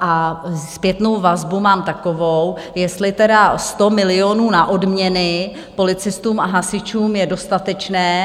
a zpětnou vazbu mám takovou, jestli tedy 100 milionů na odměny policistům a hasičům je dostatečné.